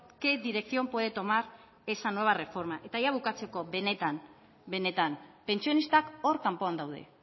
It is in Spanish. qué dirección puede tomar esa nueva reforma eta bukatzeko benetan pentsionistak hor kanpoan daude